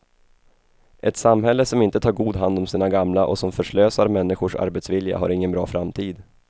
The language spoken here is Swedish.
Ett samhälle som inte tar god hand om sina gamla och som förslösar människors arbetsvilja har ingen bra framtid.